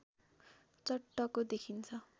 चट्टको देखिन्छ